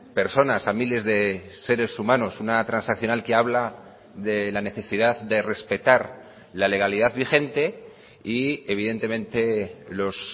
personas a miles de seres humanos una transaccional que habla de la necesidad de respetar la legalidad vigente y evidentemente los